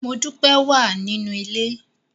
Modúpẹ́ wà nínú ilé.